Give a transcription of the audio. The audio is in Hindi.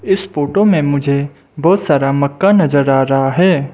इस फोटो में मुझे बहुत सारा मक्का नजर आ रहा हैं।